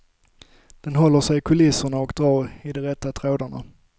Den håller sig i kulisserna och drar i de rätta trådarna.